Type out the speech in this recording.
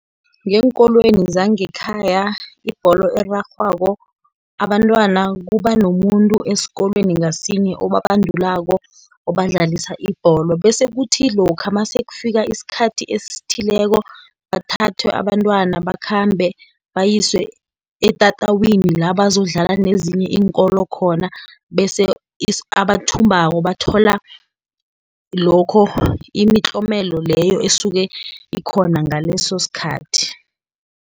Ngeenkolweni zangekhaya ibholo erarhwako, abantwana kuba nomuntu esikolweni ngasinye, obabandulako, obadlalisa ibholo, bese kuthi lokha mase kufika isikhathi esithileko bathathwe abantwana bakhambe, bayiswe etatawini la, bazokudlala nezinye iinkolo khona, bese abathumbako bathola lokho, imitlomelo leyo esuke ikhona ngaleso sikhathi.